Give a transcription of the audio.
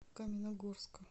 каменногорска